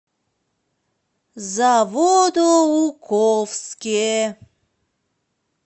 заводоуковске